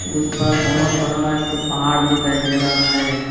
उस पार बहोत बड़ा एक ठो पहाड़ दिखाई दे रहा है।